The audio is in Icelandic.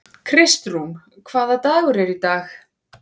Kristrún, hvaða dagur er í dag?